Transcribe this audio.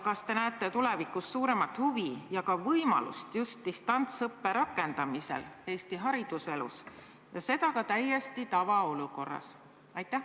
Kas te näete tulevikus suuremat huvi ja võimalust rakendada Eesti hariduselus just distantsõpet ja seda täiesti tavaolukorras?